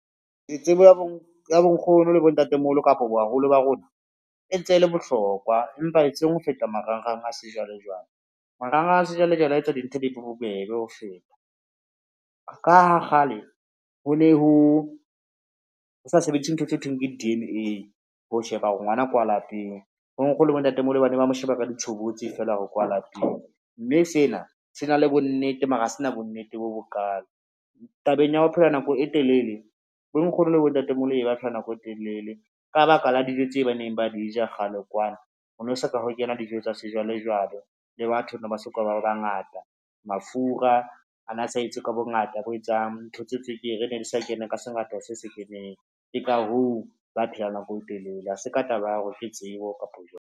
Tsebo ya bonkgono le bontatemoholo kapo baholo ba rona e ntse e le bohlokwa, empa e seng ho feta marangrang a sejwalejwale. Marangrang a sejwalejwale a etsa dintho di be bobebe ho feta, ka ha kgale ho ne ho sa sebediswe ntho tse ho thweng ke di-D_N_A ho sheba hore ngwana ke wa lapeng, bonkgono le bontatemoholo ba ne ba mo sheba ka di tshobotsi fela hore kwa lapeng, mme sena se na le bonnete mara ha se na bonnete bo bo kalo. Tabeng ya ho phela nako e telele bonkgono le bontatemoholo, ne ba phela nako e telele ka baka la dijo tseo ba neng ba di ja kgale kwana, ho no so ka ho kena dijo tsa sejwalejwale le batho ne ba so ka ba ba bangata, mafura a na sa etswe ka bongata bo etsang, ntho tse tswekere ne di sa kena ka sengata se se keneng. Ke ka hoo ba phelang nako e telele ha se ka taba ya hore ke tsebo kapo jwang.